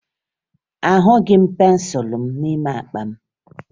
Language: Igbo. Ahụghị m pensụlụ m n'ime akpa m